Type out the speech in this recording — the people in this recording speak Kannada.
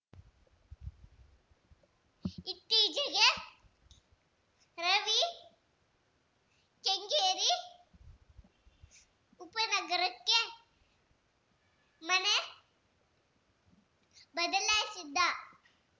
ಇತ್ತೀಚೆಗೆ ರವಿ ಕೆಂಗೇರಿ ಉಪನಗರಕ್ಕೆ ಮನೆ ಬದಲಾಯಿಸಿದ್ದ